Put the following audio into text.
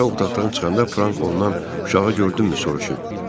Uşaq otaqdan çıxanda Frank ondan uşağı gördünmü soruşub.